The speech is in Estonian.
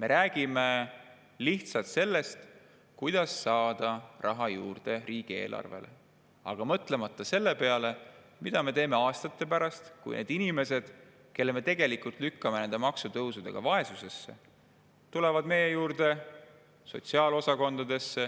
Me räägime lihtsalt sellest, kuidas saada raha juurde riigieelarvesse, mõtlemata aga selle peale, mida me teeme aastate pärast, kui need inimesed, kelle me tegelikult lükkame nende maksutõusudega vaesusesse, tulevad meie juurde sotsiaalosakondadesse,